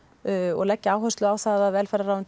og leggja áherslu á það velferðarráðuneytið